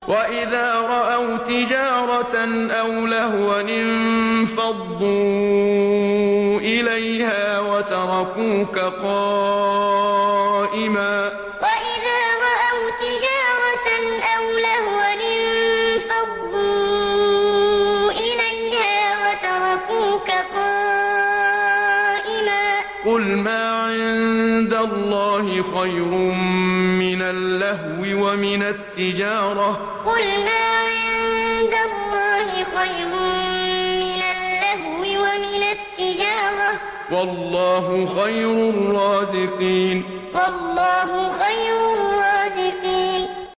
وَإِذَا رَأَوْا تِجَارَةً أَوْ لَهْوًا انفَضُّوا إِلَيْهَا وَتَرَكُوكَ قَائِمًا ۚ قُلْ مَا عِندَ اللَّهِ خَيْرٌ مِّنَ اللَّهْوِ وَمِنَ التِّجَارَةِ ۚ وَاللَّهُ خَيْرُ الرَّازِقِينَ وَإِذَا رَأَوْا تِجَارَةً أَوْ لَهْوًا انفَضُّوا إِلَيْهَا وَتَرَكُوكَ قَائِمًا ۚ قُلْ مَا عِندَ اللَّهِ خَيْرٌ مِّنَ اللَّهْوِ وَمِنَ التِّجَارَةِ ۚ وَاللَّهُ خَيْرُ الرَّازِقِينَ